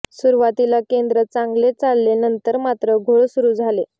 सुरुवातीला केंद्र चांगले चालले नंतर मात्र घोळ सुरू झाले